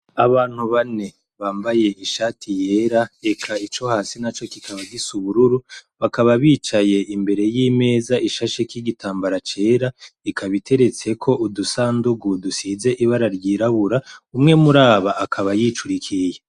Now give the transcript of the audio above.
Abantu bane bambaye ishati yera, eka ico hasi naco kikaba gifise ubururu. Bakaba bicaye imbere y'imeza ishasheko igitambara cera, ikaba iteretseko udusandugugu dusize ibara ryirabura, umwe muri aba akaba yicurikiriye.